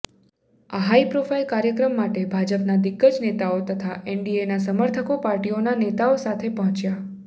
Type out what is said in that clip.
આ high profile કાર્યક્રમ માટે ભાજપના દિગ્ગજ નેતાઓ તથા એનડીએના સમર્થકો પાર્ટીઓના નેતાઓ સાથે પહોંચ્યાં